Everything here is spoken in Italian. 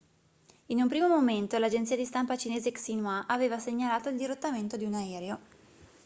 in un primo momento l'agenzia di stampa cinese xinhua aveva segnalato il dirottamento di un aereo